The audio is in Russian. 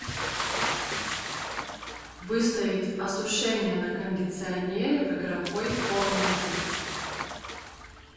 выставить осушение на кондиционере в игровой комнате